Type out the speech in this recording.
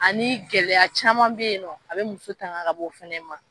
Ani gɛlɛya caman be yen nɔ a be muso tanga ka bɔ fɛnɛ ma